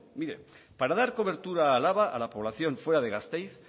mire para dar cobertura a álava a la población fuera de gasteiz